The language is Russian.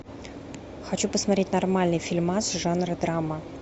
хочу посмотреть нормальный фильмас жанра драма